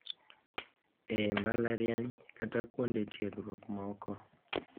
E Mbalatriany kata kuonde tiegruok moko,